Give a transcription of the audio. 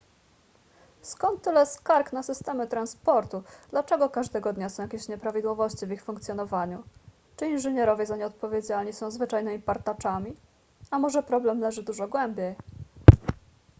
skąd tyle skarg na systemy transportu dlaczego każdego dnia są jakieś nieprawidłowości w ich funkcjonowaniu czy inżynierowie za nie odpowiedzialni są zwyczajnymi partaczami a może problem leży dużo głębiej